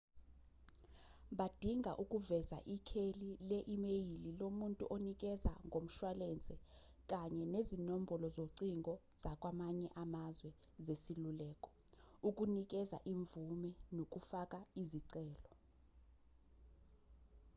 badinga ukuveza ikheli le-imeyili lomuntu onikeza ngomshwalense kanye nezinombolo zocingo zakwamanye amazwe zesiluleko/ukunikeza imvume nokufaka izicelo